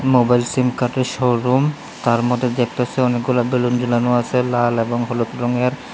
Mobile সিমকার্ডের showroom তার মধ্যে দেখতাসি অনেকগুলা বেলুন ঝোলানো আসে লাল এবং হলুদ রঙের।